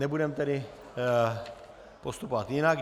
Nebudeme tedy postupovat jinak.